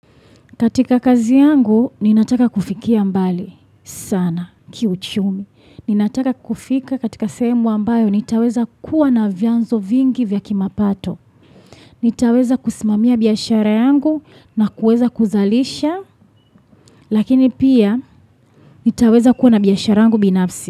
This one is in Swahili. Katika kazi yangu, ninataka kufikia mbali sana, kiuchumi. Ninataka kufika katika sehemu ambayo, nitaweza kuwa na vyanzo vingi vya kimapato. Nitaweza kusimamia biashara yangu na kuweza kuzalisha, lakini pia nitaweza kuwa na biashara yangu binafsi.